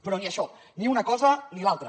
però ni això ni una cosa ni l’altra